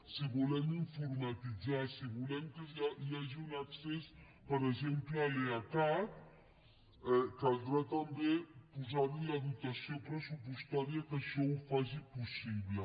si volem informatitzar si volem que hi hagi un accés per exemple a l’eacat caldrà també posarhi la dotació pressupostària que ho faci possible